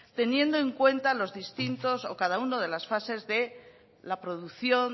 teniendo en cuenta los distintos o cada uno de las fases de producción